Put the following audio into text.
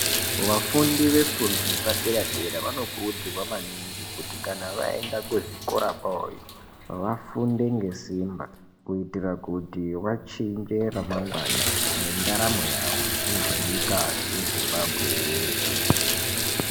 Vafundi vefundo yepadera-dera vanokurudzirwa maningi kuti kana vaenda kuzvikora zvavo iyo vafunde ngesimba kuitira kuti vachinge ramangwana nendaramo yawo ngezvemunyika yemuZimbabwe yeshe.